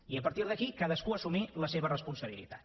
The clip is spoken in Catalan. i a partir d’aquí cadascú assumir la seva responsabilitat